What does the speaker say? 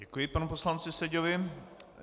Děkuji panu poslanci Seďovi.